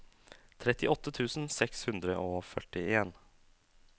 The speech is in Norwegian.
trettiåtte tusen seks hundre og førtien